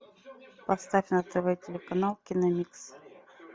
поставь на тв телеканал киномикс